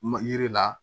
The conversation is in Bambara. Ma yiri la